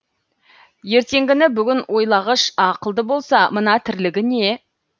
ертеңгіні бүгін ойлағыш ақылды болса мына тірлігі не